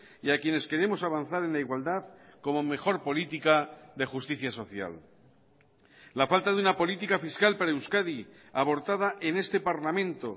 y a quienes queremos avanzar en la igualdad como mejor política de justicia social la falta de una política fiscal para euskadi abortada en este parlamento